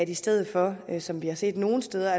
i stedet for en som vi har set nogle steder